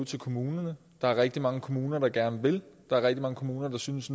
til kommunerne der er rigtig mange kommuner der gerne vil der er rigtig mange kommuner der synes